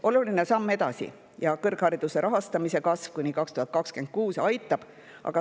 … on suur samm edasi ja kõrghariduse rahastamise kasv kuni 2026 aitab.